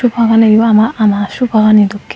sofa ganio ama sofa gani dokkin.